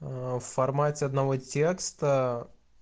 в формате одного текста